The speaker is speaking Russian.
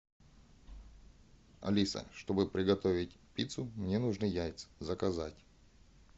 алиса чтобы приготовить пиццу мне нужны яйца заказать